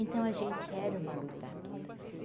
Então a gente era uma lutadora.